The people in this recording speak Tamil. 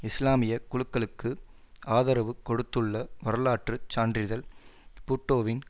இஸ்லாமிய குழுக்களுக்கு ஆதரவு கொடுத்துள்ள வரலாற்று சான்றில் பூட்டோவின்